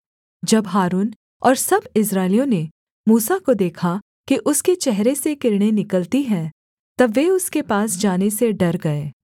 जब हारून और सब इस्राएलियों ने मूसा को देखा कि उसके चेहरे से किरणें निकलती हैं तब वे उसके पास जाने से डर गए